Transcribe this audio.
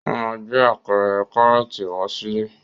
Ó máa gbé apẹ̀rẹ̀ Kárọ́tì wá sílé.